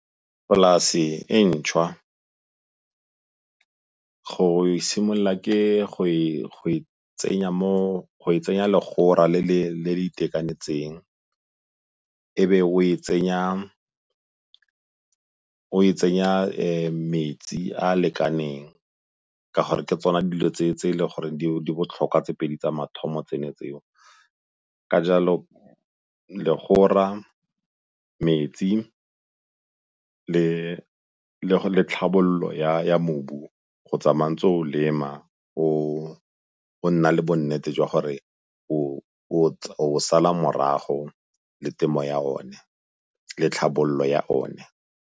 Polase e ntšhwa go e simolola ke go e tsenya legora le le itekanetseng e be o e tsenya metsi a a lekaneng ka gore ke tsona dilo tse e le gore di botlhokwa tse pedi tsa mathomo tsone tseo. Ka jalo legora, metsi le tlhabololo ya mobu go tsamaya o ntse o lema go nna le bonnete jwa gore o o sala morago le temo ya one le tlhabololo ya one.